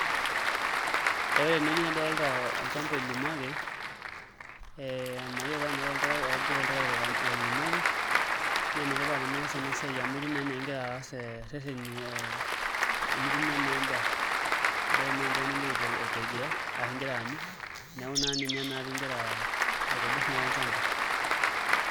Ore tenewueji nadolita olchamba oilimaki ee mayiolo taa enaa toltarkita ajo toltarakita ilimaki naa entipat enias ena siai amu etiu naa enaa igira aas irrereni ee enitumia naa endaa ebaiki naa enchan ingira aitegea ashu ingira aanyu, neeku naa ninye pee igira aitobirr naa olchamba.